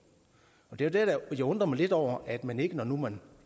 det er der jeg undrer mig lidt over at man ikke når nu man